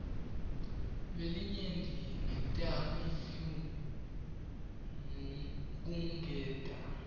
kwelinyenti ngetamiflu kungenta